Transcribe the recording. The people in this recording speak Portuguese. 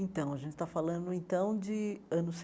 Então, a gente está falando então de anos